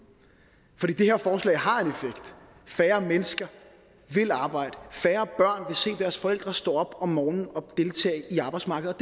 det her forslag har en effekt færre mennesker vil arbejde færre børn vil se deres forældre stå op om morgenen og deltage i arbejdsmarkedet